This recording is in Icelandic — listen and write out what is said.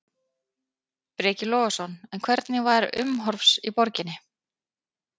Breki Logason: En hvernig var umhorfs í borginni?